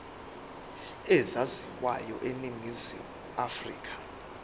ezaziwayo eningizimu afrika